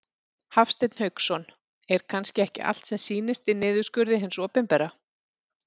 Hafsteinn Hauksson: Er kannski ekki allt sem sýnist í niðurskurði hins opinbera?